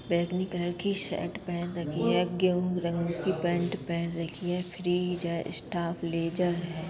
बैंगनी कलर की शर्ट पहन रखी है | गेहूँ रंग की पैंट पहन रखी है | फ्रीज़ है | स्टॉप लेजर है।